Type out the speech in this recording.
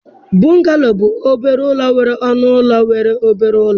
Bungalow bụ obere ụlọ nwere ọnụ ụlọ nwere obere ụlọ